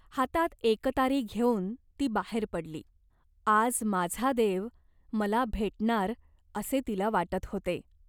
हातात एकतारी घेऊन ती बाहेर पडली. आज माझा देव मला भेटणार असे तिला वाटत होते.